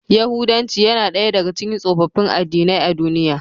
Yahudanci yana daya daga cikin tsofaffin addinai a duniya.